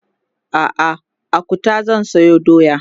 a'a a Kuta zan sayo doya